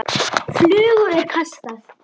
Flugu er kastað.